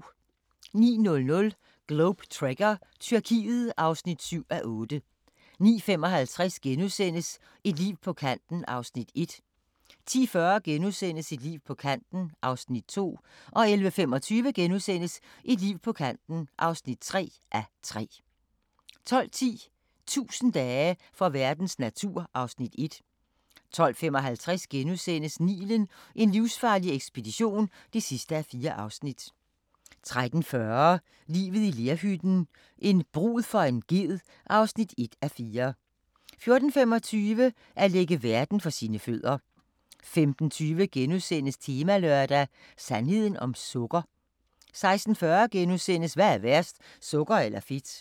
09:00: Globe Trekker – Tyrkiet (7:8) 09:55: Et liv på kanten (1:3)* 10:40: Et liv på kanten (2:3)* 11:25: Et liv på kanten (3:3)* 12:10: 1000 dage for verdens natur (Afs. 1) 12:55: Nilen: en livsfarlig ekspedition (4:4)* 13:40: Livet i lerhytten – en brud for en ged (1:4) 14:25: At lægge verden for sine fødder 15:20: Temalørdag: Sandheden om sukker? * 16:40: Hvad er værst – sukker eller fedt? *